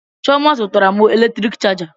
Chioma zụtara m eletrik chaja